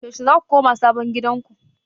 Yaushe za ku koma sabon gidanku?